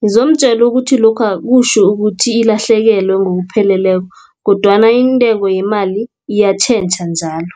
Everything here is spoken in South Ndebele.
Ngizomtjela ukuthi lokhu akutjho ukuthi ilahlekelwe ngokupheleleko, kodwana intengo yemali iyatjhentjha njalo.